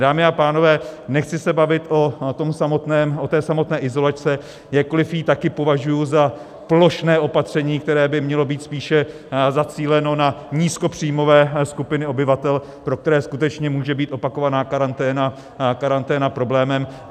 Dámy a pánové, nechci se bavit o té samotné izolačce, jakkoli ji taky považuju za plošné opatření, které by mělo být spíše zacíleno na nízkopříjmové skupiny obyvatel, pro které skutečně může být opakovaná karanténa problémem.